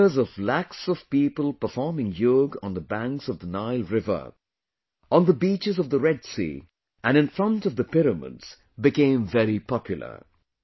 The pictures of lakhs of people performing yoga on the banks of the Nile River, on the beaches of the Red Sea and in front of the pyramids became very popular